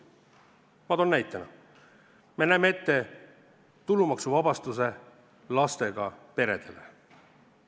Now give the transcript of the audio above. Ma toon näite: me näeme ette tulumaksuvabastuse lastega peredele.